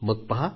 मग पहा